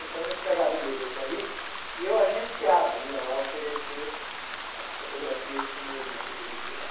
Então, ele pegava o endereço dali e eu agenciava, ia lá oferecer as fotografias que o meu irmão poderia tirar.